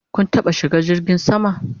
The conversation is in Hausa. Kun taɓa shiga jirgin sama?